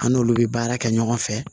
An n'olu bɛ baara kɛ ɲɔgɔn fɛ